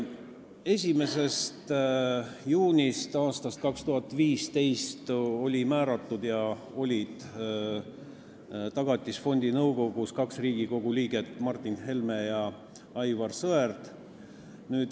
1. juunist aastast 2015 olid Tagatisfondi nõukogusse määratud Riigikogu liikmed Martin Helme ja Aivar Sõerd.